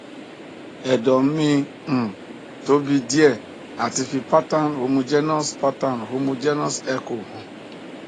edo me um tobi die ati fi pattern homogenous pattern homogenous echo han